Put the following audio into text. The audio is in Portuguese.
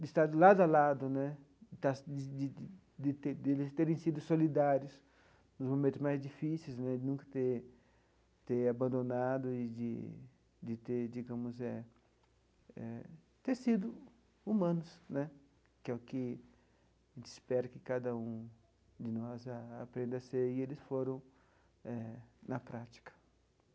de estar de lado a lado né, das de de de ter de eles terem sido solidários nos momentos mais difíceis, de nunca ter ter abandonado e de ter digamos eh sido humanos, que é o que a gente espera que cada um de nós aprenda a ser, e eles foram na prática.